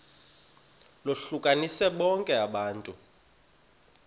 lohlukanise bonke abantu